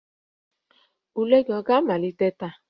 Ule gị ọ ga-amalite taa?